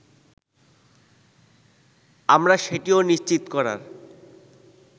আমরা সেটিও নিশ্চিত করার